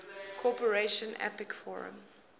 cooperation apec forum